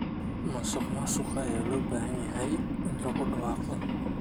Musuqmaasuqa ayaa loo baahan yahay in lagu dhawaaqo.